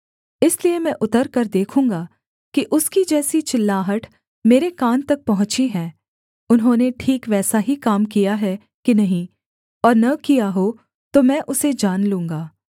इसलिए मैं उतरकर देखूँगा कि उसकी जैसी चिल्लाहट मेरे कान तक पहुँची है उन्होंने ठीक वैसा ही काम किया है कि नहीं और न किया हो तो मैं उसे जान लूँगा